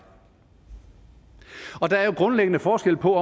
og der er jo grundlæggende forskel på